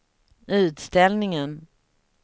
utställningen